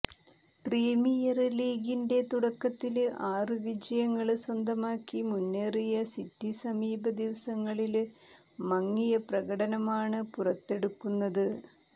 premier ലീഗിന്റെ തുടക്കത്തില് ആറു വിജയങ്ങള് സ്വന്തമാക്കി മുന്നേറിയ സിറ്റി സമീപ ദിവസങ്ങളില് മങ്ങിയ പ്രകടനമാണ് പുറത്തെടുക്കുന്നത്